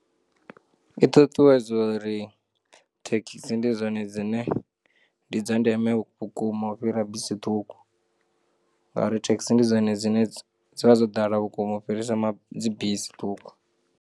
I ṱuṱuwedzo uri, thekisi ndi dzone dzine ndi dzandeme vhukuma u fhirisa bisi ṱhuku, ngauri thekisi ndi dzone dzine dzi vha dzo ḓala vhukuma u fhirisa ma, dzibisi ṱhukhu.